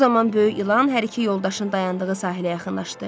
Bu zaman böyük ilan hər iki yoldaşın dayandığı sahilə yaxınlaşdı.